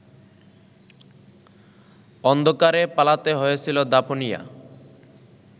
অন্ধকারে পালাতে হয়েছিল দাপুনিয়া